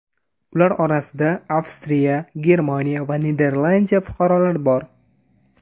Ular orasida Avstriya, Germaniya va Niderlandiya fuqarolari bor.